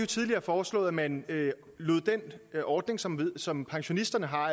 tidligere foreslået at man lod den ordning som som pensionisterne har